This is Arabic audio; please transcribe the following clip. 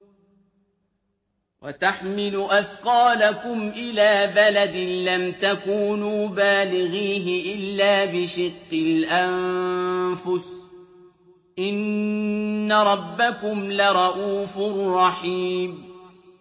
وَتَحْمِلُ أَثْقَالَكُمْ إِلَىٰ بَلَدٍ لَّمْ تَكُونُوا بَالِغِيهِ إِلَّا بِشِقِّ الْأَنفُسِ ۚ إِنَّ رَبَّكُمْ لَرَءُوفٌ رَّحِيمٌ